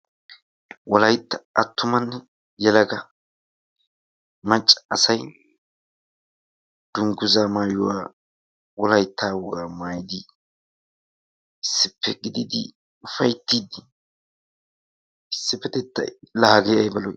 Wolaytta attumanne yelaga macca asay dungguzzaa maayuwaa wolayitta wogaa maayidi issippe gididi ufayittidi issipetettay la hagee ayba lo'i!